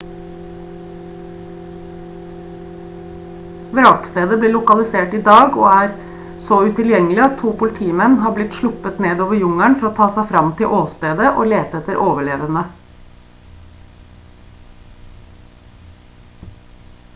vrakstedet ble lokalisert i dag og er så utilgjengelig at to politimenn har blitt sluppet ned over jungelen for å ta seg fram til åstedet og lete etter overlevende